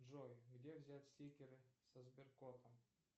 джой где взять стикеры со сберкотом